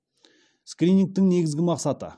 скринингтің негізгі мақсаты